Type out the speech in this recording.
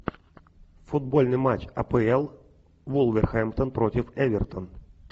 футбольный матч апл вулверхэмптон против эвертон